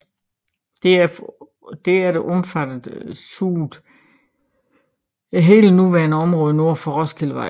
Derefter omfattede zooet hele det nuværende område nord for Roskildevej